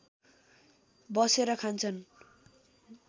बसेर खान्छन्